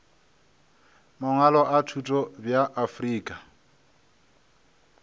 mangwalo a thuto bja afrika